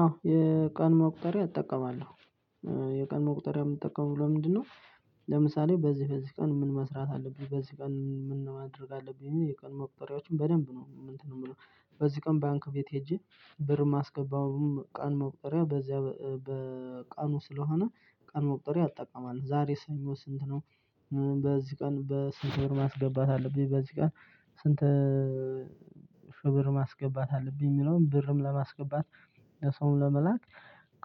አዎ የቀን መቁጠሪያ እጠቀማለሁ። የቀን መቁጠሪያ እምጠቀመው ለምንድነው? ለምሳሌ በዚህ በዚህ ቀን ምን መስራት አለብኝ በዚህ ቀን ምን ነው ማድረግ ያለብኝ ብየ የቀን መቁጠሪያዎችን በደንብ ነው እንትን እምለው። በዚህ ቀን ባንክ ቤት ሄጄ ብር እማስገባውም ቀን መውጠሪያ በዚያ በቀኑ ስለሆነ ቀን መቁጠሪያ እጠቀማለሁ። ዛሬ ሰኞ ስንት ስንት ነው? በዚህ ቀን በስንት ብር ማስገባት አለብኝ በዚህ ቀን። ስንት ሽ ብር ማስገባት አለብኝ። እሚለውን ብርም ለማስገባት። ለሰውም ለመላክ